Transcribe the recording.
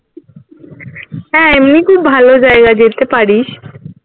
হ্যাঁ এমনি খুব ভালো জায়গা যেতে পারিস